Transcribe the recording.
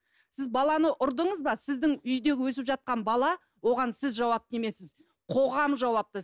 сіз баланы ұрдыңыз ба сіздің үйдегі өсіп жатқан бала оған сіз жауапты емессіз қоғам жауапты